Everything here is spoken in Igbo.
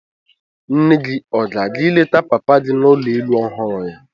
Nne gị ọ ga-aga ịleta papa gị n'ụlọ elu ọhụrụ ya?